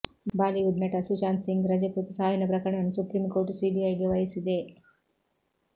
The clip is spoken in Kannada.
ಬಾಲಿವುಡ್ ನಟ ಸುಶಾಂತ್ ಸಿಂಗ್ ರಜಪೂತ್ ಸಾವಿನ ಪ್ರಕರಣವನ್ನು ಸುಪ್ರಿಂ ಕೋರ್ಟ್ ಸಿಬಿಐಗೆ ವಹಿಸಿದೆ